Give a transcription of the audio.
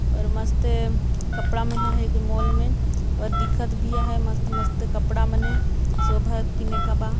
और मस्त कपड़ा मन हे एदे माल मे अऊ दिखत भी हे मस्त मस्त कपड़ा मन ए शोभा